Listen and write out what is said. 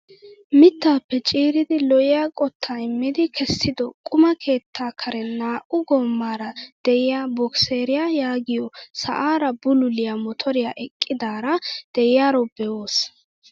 Mittaappe ciiridi lo"iyaa qottaa immidi kessido quma keettaa karen naa"u goomaara de'iyaa bokiseriyaa yaagiyoo sa'aara bululiyaa motoriyaa eqqidara de'iyaaro be'oos!